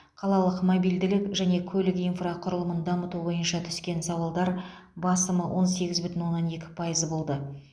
қалалық мобильділік және көлік инфрақұрылымын дамыту бойынша түскен сауалдар басым он сегіз бүтін оннан екі пайыз болды